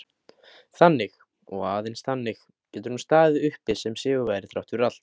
Þannig, og aðeins þannig, getur hún staðið uppi sem sigurvegari þrátt fyrir allt.